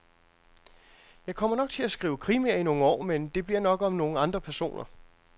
Jeg kommer nok til at skrive krimier i nogle år, men det bliver nok om nogle andre personer.